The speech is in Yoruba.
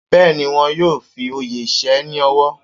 Bẹ́ẹ̀ni, wón yóò fi oyè ṣe é ní ọ̀wọ̀